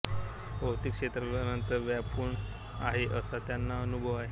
भौतिक क्षेत्राला अनंत व्यापून आहे असा त्यांना अनुभव आला